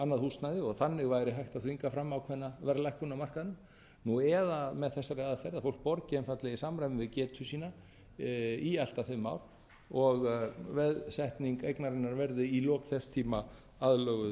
annað húsnæði og þannig væri hægt að þvinga fram ákveðna verðlækkun á markaðnum eða með þessari aðferð að fólk borgi einfaldlega í samræmi við getu sína í allt að fimm ár og veðsetning eignarinnar verði í lok þess tíma aðlöguð